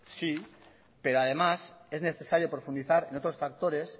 sí pero además es necesario profundizar en otros factores